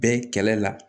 Bɛɛ kɛlɛ la